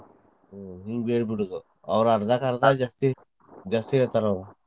ಹಿಂಗ್ ಹೇಳಿಬಿಡುದ ಅವ್ರ್ ಅರ್ಧ ಕ್ಕ್ ಅರ್ಧ ಜಾಸ್ತಿ ಜಾಸ್ತಿ ಹೇಳ್ತಾರ್ ಅವ್ರ್.